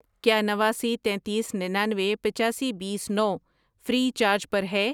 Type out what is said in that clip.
کیا نواسی، تینتیس، ننانوے، پچاسی، بیس، نو فری چارج پر ہے؟